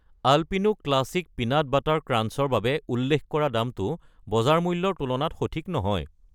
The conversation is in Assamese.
Alpino classic peanut butter crunch ৰ বাবে উল্লেখ কৰা দামটো বজাৰ মূল্যৰ তুলনাত সঠিক নহয়।